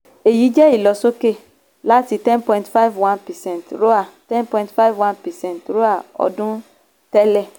èyí jẹ́ ìlọ̀sókè láti ten point five one percent roae ten point five one percent ten point five one percent ten point five one percent roae ọdún tẹ́lẹ̀.